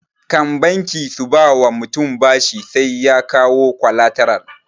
Kan banki su ba wa mutum bashi sai ya kawo kwalataral